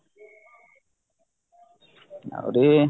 ଆହୁରି